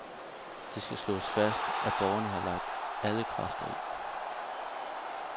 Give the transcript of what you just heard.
Det skal slås fast, at borgerne havde lagt alle kræfter i.